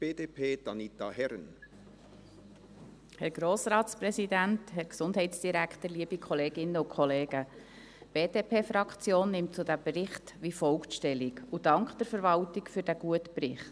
Die BDP-Fraktion nimmt zu diesem Bericht wie folgt Stellung und dankt der Verwaltung für diesen guten Bericht: